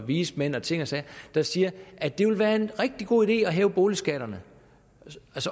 vismænd og ting og sager der siger at det vil være en rigtig god idé at hæve boligskatterne